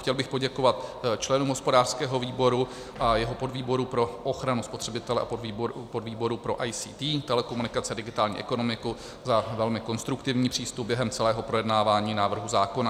Chtěl bych poděkovat členům hospodářského výboru a jeho podvýboru pro ochranu spotřebitele a podvýboru pro ICT, telekomunikace a digitální ekonomiku za velmi konstruktivní přístup během celého projednávání návrhu zákona.